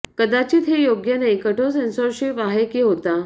कदाचित हे योग्य नाही कठोर सेन्सॉरशिप आहे की होता